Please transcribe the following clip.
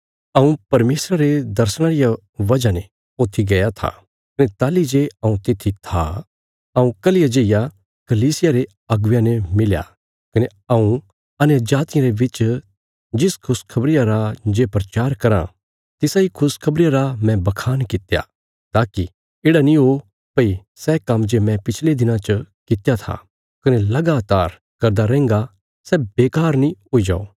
हऊँ परमेशरा रे दर्शणा रिया वजह ने ऊत्थी गया था कने ताहली जे हऊँ तित्थी था हऊँ कल्हिया जेईया कलीसिया रे अगुवेयां ने मिलया कने हऊँ अन्यजातियां रे बिच जिस खुशखबरिया रा जे प्रचार कराँ तिसा इ खुशखबरिया रा मैं बखान कित्या ताकि येढ़ा नीं हो भई सै काम्म जे मैं पिछले दिनां च कित्या था कने लगातार करदा रैहन्गा सै बेकार नीं हुई जाओ